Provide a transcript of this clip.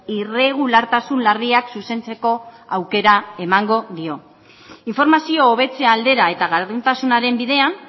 irregulartasun larriak zuzentzeko aukera emango dio informazio hobetze aldera eta gardentasunaren bidean